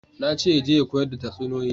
Na ce ya je ya koyar da tatsuniyoyi